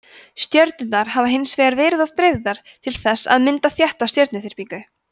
stjörnurnar hafa hins vegar verið of dreifðar til þess að mynda þétta stjörnuþyrpingu